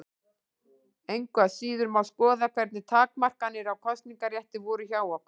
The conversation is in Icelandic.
Engu að síður má skoða hvernig takmarkanir á kosningarétti voru hjá okkur.